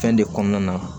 Fɛn de kɔnɔna na